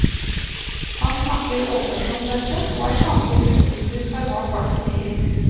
Han snakker åpent om dette, og er samtidig bekymret for hva folk sier.